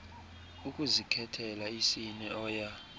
ukuzikhethela isini oya